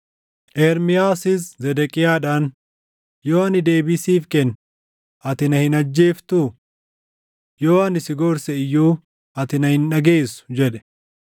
Ermiyaasis Zedeqiyaadhaan, “Yoo ani deebii siif kenne, ati na hin ajjeeftuu? Yoo ani si gorse iyyuu ati na hin dhageessu” jedhe.